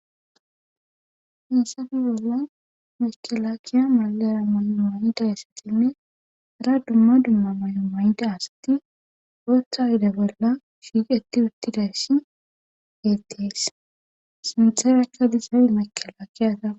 hinsafi bolla mekalakiya magara may7o mayiday asatinne ra dumma dumma may7o mayida asati otha yide bolla fiiqeti uttidayssi geettees sintheracha diiza mekala kiyata